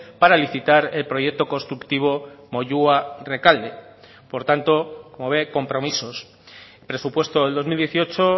para licitar el proyecto constructivo moyua rekalde por tanto como ve compromisos presupuesto del dos mil dieciocho